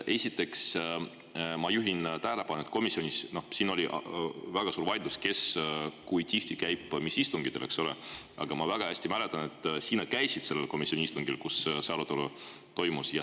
Esiteks juhin tähelepanu sellele, et siin oli väga suur vaidlus, kes kui tihti ja mis istungitel käib, aga ma mäletan väga hästi, et sina käisid sellel komisjoni istungil, kus see arutelu toimus.